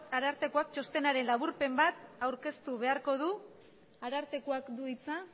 arartekoak txostenaren laburpen bat aurkeztu beharko du arartekoak du hitza